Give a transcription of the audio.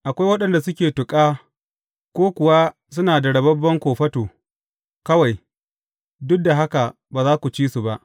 Akwai waɗanda suke tuƙa ko kuwa suna da rababben kofato kawai, duk da haka ba za ku ci su ba.